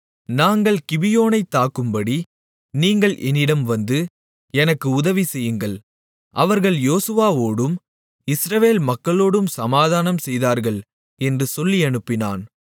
நாங்கள் கிபியோனைத் தாக்கும்படி நீங்கள் என்னிடம் வந்து எனக்கு உதவிசெய்யுங்கள் அவர்கள் யோசுவாவோடும் இஸ்ரவேல் மக்களோடும் சமாதானம் செய்தார்கள் என்று சொல்லியனுப்பினான்